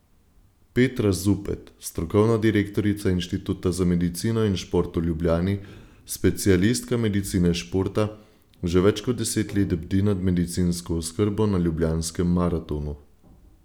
Petra Zupet, strokovna direktorica Inštituta za medicino in šport v Ljubljani, specialistka medicine športa, že več kot deset let bdi nad medicinsko oskrbo na ljubljanskem maratonu.